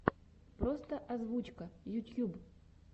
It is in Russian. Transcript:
просто озвучка ютьюб